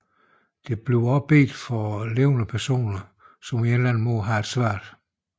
Dertil bliver der også bedt for levende personer som på en eller anden måde har det svært